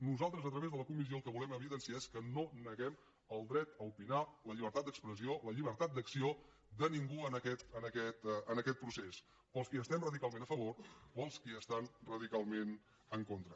nosaltres a través de la comissió el que volem evidenciar és que no neguem el dret a opinar la llibertat d’expressió la llibertat d’acció de ningú en aquest procés per als qui hi estem radicalment a favor per als qui hi estan radicalment en contra